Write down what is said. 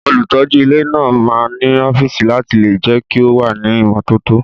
Olùtọ́jú ilé náà máa ń nu ọ́fíìsì láti lè jẹ́ kí ó wà ní ìmọ́tótó